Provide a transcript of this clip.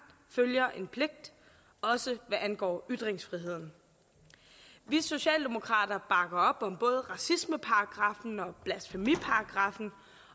følger en pligt også hvad angår ytringsfriheden socialdemokraterne bakker op om både racismeparagraffen og blasfemiparagraffen